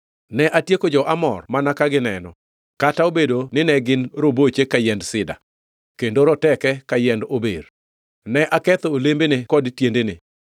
“Ne atieko jo-Amor mana ka gineno, kata obedo nine gin roboche ka yiend sida, kendo roteke ka yiend ober. Ne aketho olembene kod tiendene!